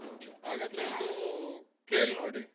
Okay ಹಾಗಾದ್ರೆ ಒಂದು ಕೇಲ್ನೋಡಿ.